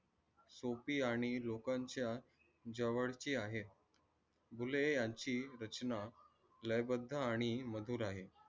सोपी आणि लोकांची जवळची आहे. बुले यांची रचना लयबद्द आणि मधुर आहे.